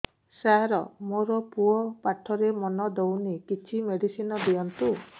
ସାର ମୋର ପୁଅ ପାଠରେ ମନ ଦଉନି କିଛି ମେଡିସିନ ଦିଅନ୍ତୁ